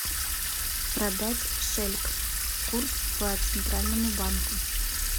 продать шельк курс по центральному банку